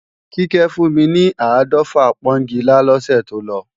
Kíkẹ́ fún mi ni áàdọ́fà pọ́ńgilá lọ́sẹ̀ tó lọ